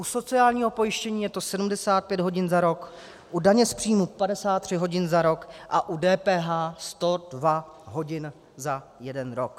U sociálního pojištění je to 75 hodin za rok, u daně z příjmu 53 hodin za rok a u DPH 102 hodin za jeden rok.